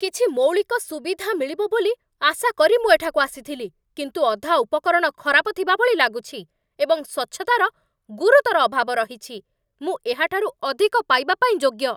କିଛି ମୌଳିକ ସୁବିଧା ମିଳିବ ବୋଲି ଆଶା କରି ମୁଁ ଏଠାକୁ ଆସିଥିଲି, କିନ୍ତୁ ଅଧା ଉପକରଣ ଖରାପ ଥିବାଭଳି ଲାଗୁଛି, ଏବଂ ସ୍ୱଚ୍ଛତାର ଗୁରୁତର ଅଭାବ ରହିଛି। ମୁଁ ଏହାଠାରୁ ଅଧିକ ପାଇବା ପାଇଁ ଯୋଗ୍ୟ।